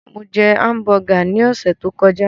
Mo jẹ hámùbọgà ní ọ̀sẹ̀ tó kọjá.